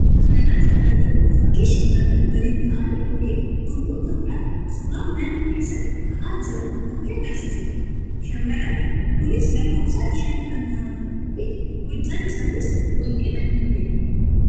Suuraa kana irratti kan argamu fakkii shamarran waliin ta'anii yookiin gurmuun ta'uudhaan suuraa mana keessatti ka'aa jiran fakkii agarsiisuu dha. Shamarranni kunis lakkoofsaan shan kan ta'anii fi hojjaan isaaniis wal qixa kan ta'eedha.